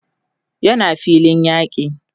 yana filin yaki